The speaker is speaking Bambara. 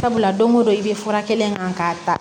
Sabula don go don i be fura kelen kan k'a ta